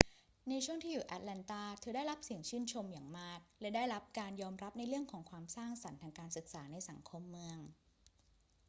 ในช่วงที่อยู่ที่แอตแลนตา เธอได้รับเสียงชื่นชมอย่างมาก และได้รับการยอมรับในเรื่องความสร้างสรรค์ทางการศึกษาในสังคมเมือง